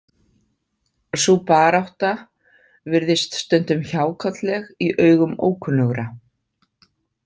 Sú barátta virðist stundum hjákátleg í augum ókunnugra.